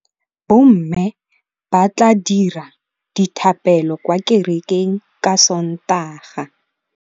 Bommê ba tla dira dithapêlô kwa kerekeng ka Sontaga.